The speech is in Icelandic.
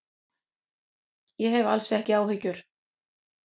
Ég hef alls ekki áhyggjur.